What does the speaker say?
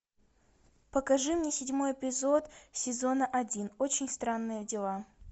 покажи мне седьмой эпизод сезона один очень странные дела